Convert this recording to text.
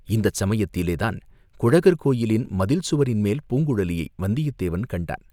இந்தச் சமயத்திலே தான் குழகர் கோயிலின் மதில் சுவரின் மேல் பூங்குழலியை வந்தியத்தேவன் கண்டான்.